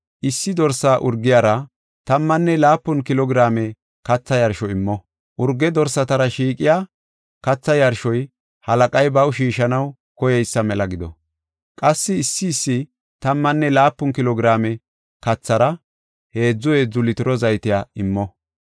Issi dorsa urgiyara tammane laapun kilo giraame katha yarsho immo. Urge dorsatar shiiqiya katha yarshoy halaqay baw shiishanaw koyeysa mela gido. Qassi issi issi tammane laapun kilo giraame kathara heedzu heedzu litiro zaytey immo.